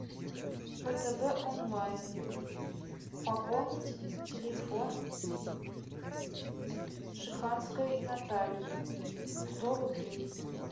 втб онлайн пополнить телефон шеханской натальи сто рублей